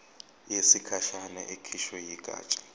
yesikhashana ekhishwe yigatsha